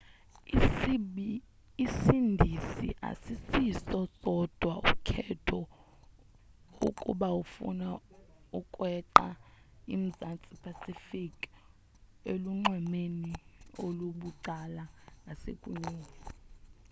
isindizi asisiso sodwa ukhetho ukuba ufuna ukweqa i-mzantsi pacific elunxwemeni olubucala ngasekunene